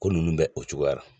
Ko ninnu bɛ o cogoyara.